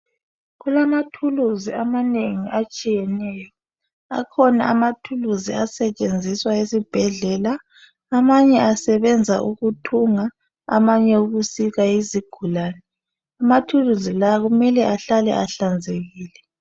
Kulamathulusi amanengi atshiyeneyo. Akhona amathulusi asetshenzisa esibhedlela. Amanye asebenza ukuthunga amanye ukuhlinza izigulane. Amathulusi la kumele ahlale ehlanzekile.